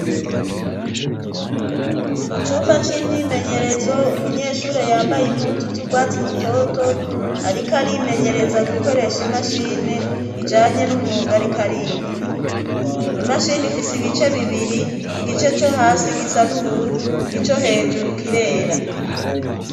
Mu cumba c'imyimenyerezo umunyeshure yambaye impuzu z'urwatsi rutoto, ariko arimenyereza gukoresha imashini ijanye n'umwugariko ariga imashini ifise ibice bibiri igice co hasi gisa n'ubururu ico hejuru kirera.